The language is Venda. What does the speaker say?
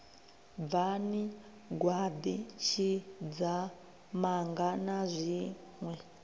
bvani gwaḓi tshidzamanga na zwiṋwe